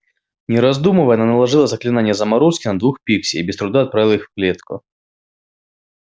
не раздумывая она наложила заклинание заморозки на двух пикси и без труда отправила их в клетку